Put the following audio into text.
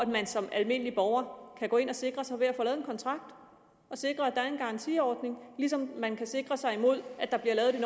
man som almindelig borger kan gå ind og sikre sig ved at få lavet en kontrakt og sikre at der er en garantiordning ligesom man kan sikre sig mod at der bliver lavet et